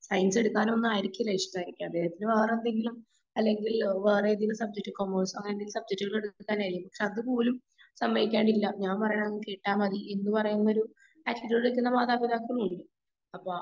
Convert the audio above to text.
Science എടുത്താലോന്നായിരിക്കും ഇഷ്ടായിരിക്ക. ദൈവത്തിന് വേറെന്തെങ്കിലും അല്ലെങ്കിൽ വേറേതെങ്കിലും സബ്ജെക്ട് കോമേഴ്‌സൊ അങ്ങനെന്തെങ്കിലും സബ്ജെക്റ്റുകള് എടുക്കാൻ കഴിയും. പക്ഷെ അത് പോലും സമ്മയ്ക്കാറില്ല. ഞാൻ പറയാവുന്നത് കേട്ടാൽ മതി എന്ന് പറയാവുന്നൊരു അങ്ക്ലിയർ മാതാപിതാക്കളുണ്ട്. അപ്പൊ